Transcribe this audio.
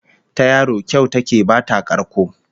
Ta yaro kyau ta ke bata karko